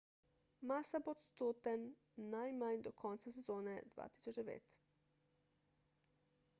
massa bo odsoten najmanj do konca sezone 2009